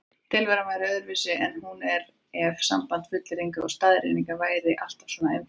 Tilveran væri öðruvísi en hún er ef samband fullyrðinga og staðreynda væri alltaf svona einfalt.